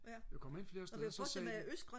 jeg kom ind flere steder så sagde de